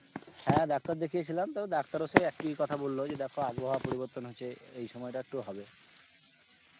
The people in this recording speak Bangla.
হ্যাঁ ডাক্তার দেখিয়ে ছিলাম ডাক্তার ও সেই এক ই কথা বলল দেখো আবহাওয়া পরিবর্তন হচ্ছে এই সময় টা একটু হবে